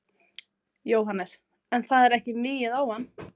Jóhannes: En það er ekki migið á hann?